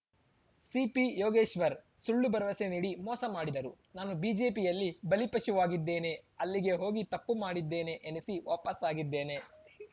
ಸಿಪಿಯೋಗೇಶ್ವರ್‌ ಸುಳ್ಳು ಭರವಸೆ ನೀಡಿ ಮೋಸ ಮಾಡಿದರು ನಾನು ಬಿಜೆಪಿಯಲ್ಲಿ ಬಲಿಪಶುವಾಗಿದ್ದೇನೆ ಅಲ್ಲಿಗೆ ಹೋಗಿ ತಪ್ಪು ಮಾಡಿದ್ದೇನೆ ಎನಿಸಿ ವಾಪಸಾಗಿದ್ದೇನೆ